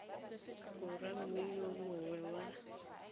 borwa mme yo mongwe wa